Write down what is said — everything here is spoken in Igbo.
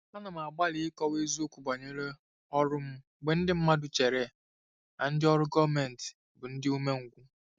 Ana m agbalị ịkọwa eziokwu banyere ọrụ m mgbe ndị mmadụ chere na ndị ọrụ gọọmentị bụ ndị umengwụ.